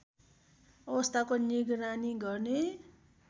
अवस्थाको निगरानी गर्ने